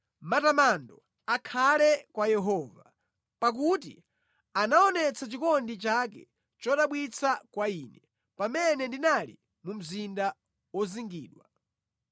Matamando akhale kwa Yehova, pakuti anaonetsa chikondi chake chodabwitsa kwa ine pamene ndinali mu mzinda wozingidwa.